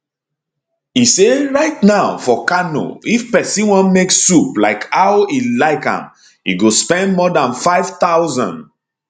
e say right now for kano if pesin wan make soup like how e like am e go spend more dan 5000